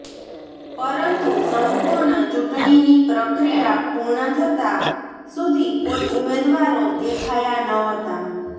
પરંતુ સંપૂર્ણ ચૂંટણીની પ્રક્રિયા પૂર્ણ થતા સુધી કોઇ ઉમેદવારો દેખાયા ન હતા